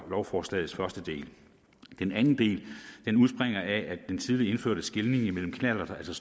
lovforslagets første del den anden del udspringer af den tidligere indførte skelnen mellem knallerter altså